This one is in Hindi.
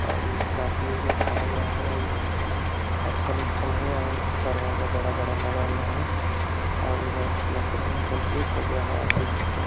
और स्कॉर्पियो खड़ा उड़ा है और मथल-उथल है और दरवाजा बड़ा-बड़ा लगा हुआ है और इधर प्लस कंप्लीट हो गया है आदमी लोग --